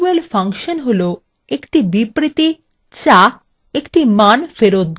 function হলো একটি বিবৃতি যা একটি মান ফেরত দেয়